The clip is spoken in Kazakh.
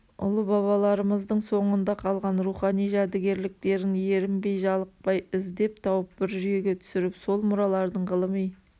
ұлы бабаларымыздың соңында қалған рухани жәдігерліктерін ерінбей-жалықпай іздеп тауып бір жүйеге түсіріп сол мұралардың ғылыми